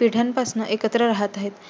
पिढयापासून एकत्र राहत आहेत.